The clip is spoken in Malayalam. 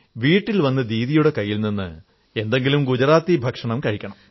വീട്ടിൽ വന്ന് ദീദിയുടെ കൈയിൽ നിന്ന് എന്തെങ്കിലും ഗുജറാത്തി ഭക്ഷണം കഴിക്കണം